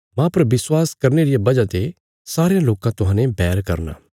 मांह पर विश्वास करने रिया वजह ते सारयां लोकां तुहांजो बैर करना